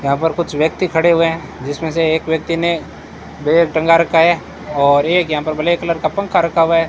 यहां पर कुछ व्यक्ति खड़े हुए हैं जिसमें से एक व्यक्ति ने बैग टंगा रखा है और एक यहां पर ब्लैक कलर का पंखा रखा हुआ है।